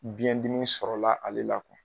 Biyɛn dimi sɔrɔla ale la